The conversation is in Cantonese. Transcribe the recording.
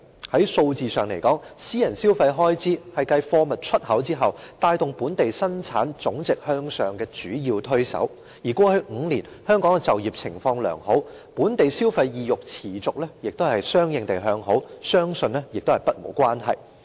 從數字上看來，私人消費開支是繼貨物出口之後，帶動本地生產總值向上的主要推手，而過去5年，香港的就業情況良好，本地消費意欲持續和相應地向好，相信與此不無關係。